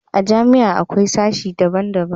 a jami'a akwai sashi daban daban